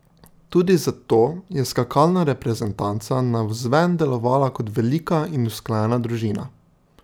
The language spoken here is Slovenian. Tudi zato je skakalna reprezentanca navzven delovala kot velika in usklajena družina.